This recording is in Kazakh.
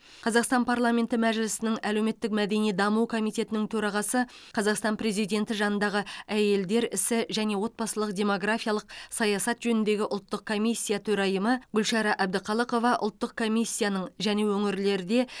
қазақстан парламенті мәжілісінің әлеуметтік мәдени даму комитетінің төрағасы қазақстан президенті жанындағы әйелдер ісі және отбасылық демографиялық саясат жөніндегі ұлттық комиссия төрайымы гүлшара әбдіқалықова ұлттық комиссияның және өңірлерде